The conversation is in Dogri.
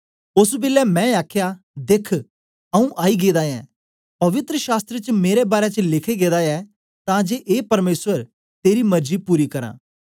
ओस बेलै मैं आखया देख आऊँ आई गेदा ऐं पवित्र शास्त्र च मेरे बारै च लिखे गेदा ऐ तां जे ए परमेसर तेरी मर्जी पूरी करां